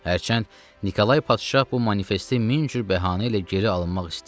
Hərçənd Nikolay padşah bu manifesti min cür bəhanə ilə geri alınmaq istəyir.